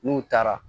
N'u taara